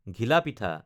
ঘিলা পিঠা